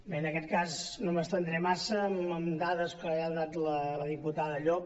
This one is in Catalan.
bé en aquest cas no m’estendré massa amb dades que ja ha donat la diputada llop